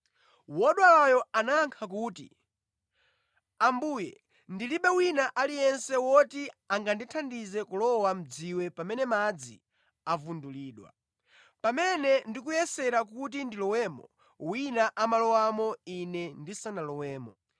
Wodwalayo anayankha kuti, “Ambuye, ndilibe wina aliyense woti angandithandize kulowa mʼdziwe pamene madzi avundulidwa. Pamene ndikuyesera kuti ndilowemo, wina amalowamo ine ndisanalowemo.”